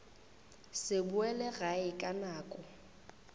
se boele gae ka nako